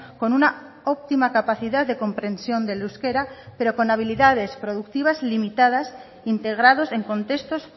con una óptima capacidad de comprensión del euskera pero con habilidades productivas limitadas integrados en contextos